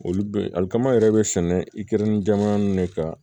Olu be alikama yɛrɛ be sɛnɛ ikenin jamana ne ka